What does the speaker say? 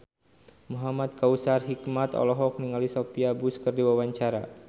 Muhamad Kautsar Hikmat olohok ningali Sophia Bush keur diwawancara